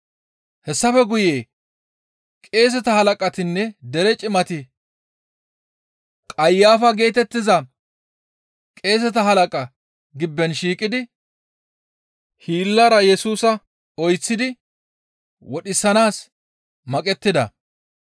Hessafe guye qeeseta halaqatinne dere cimati Qayafa geetettiza qeeseta halaqaa gibben shiiqidi hiillara Yesusa oyththidi wodhisanaas maqettida.